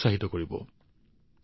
এতিয়া মই আজিৰ বাবে বিদায় লৈছো